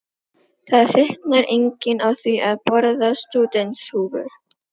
Það fitnar enginn á því að borða stúdentshúfur!